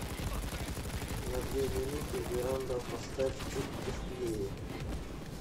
на две минуты веранда поставь чуть тусклее